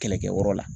Kɛlɛkɛyɔrɔ la